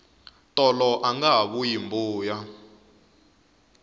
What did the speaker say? tolo angaha vuyi mbuya